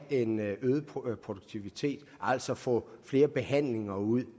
en øget produktivitet altså at få flere behandlinger ud